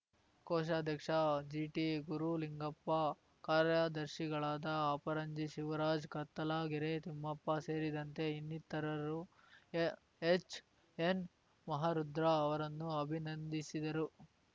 ಕೋಶಾಧ್ಯಕ್ಷ GT Gurulingappa ಕಾರ್ಯದರ್ಶಿಗಳಾದ ಅಪರಂಜಿ ಶಿವರಾಜ್‌ ಕತ್ತಲಗೆರೆ ತಿಮ್ಮಪ್ಪ ಸೇರಿದಂತೆ ಇನ್ನಿತರರು ಎ ಎಚ್‌ಎನ್‌ ಮಹಾರುದ್ರ ಅವರನ್ನು ಅಭಿನಂದಿಸಿದರು